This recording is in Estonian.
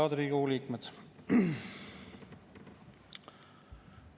Head Riigikogu liikmed!